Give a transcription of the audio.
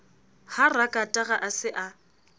ha rakatara a se a